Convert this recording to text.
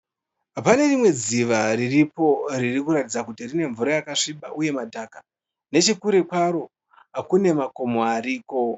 Pane rimwe dziva riripo ririkuratidza kuti rine Mvura yakasviba uye madhaka . Nechekure kwaro kune makomo ariko.